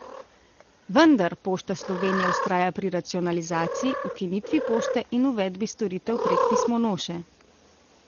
Vendar Pošta Slovenija vztraja pri racionalizaciji, ukinitvi pošte in uvedbi storitev prek pismonoše.